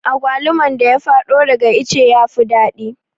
Agwaluman da ya fado daga ice yafi daɗi